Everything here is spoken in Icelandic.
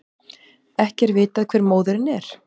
Ekki er vitað hver móðirin er